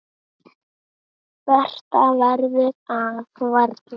Betra verður það varla.